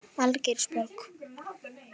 Algeirsborg